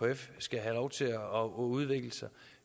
at ekf skal have lov til at udvikle sig